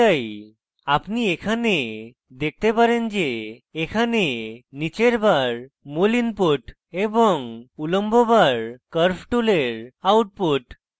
আপনি এখানে দেখতে পারেন যে এখানে নীচের bar tool input এবং উলম্ব bar curves টুলের output